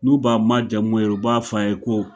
N'u b'a majamu yɛrɛ u b'a f'a ye ko